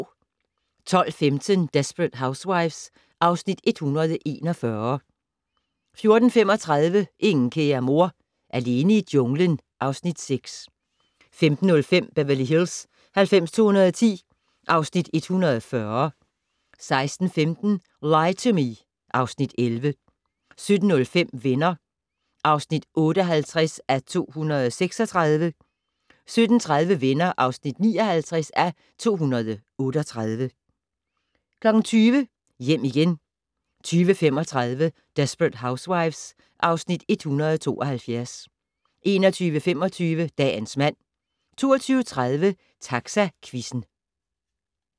12:15: Desperate Housewives (Afs. 141) 14:35: Ingen kære mor - alene i junglen (Afs. 6) 15:05: Beverly Hills 90210 (Afs. 140) 16:15: Lie to Me (Afs. 11) 17:05: Venner (58:236) 17:30: Venner (59:238) 20:00: Hjem igen 20:35: Desperate Housewives (Afs. 172) 21:25: Dagens mand 22:30: Taxaquizzen